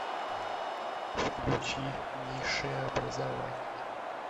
включи низшее образование